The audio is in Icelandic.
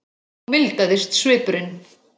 Þá mildaðist svipurinn.